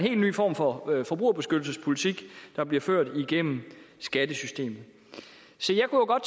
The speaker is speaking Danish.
helt ny form for forbrugerbeskyttelsespolitik der bliver ført igennem skattesystemet se